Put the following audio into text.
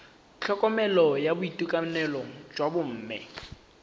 tlhokomelo ya boitekanelo jwa bomme